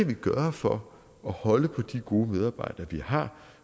kan gøre for at holde på de gode medarbejdere vi har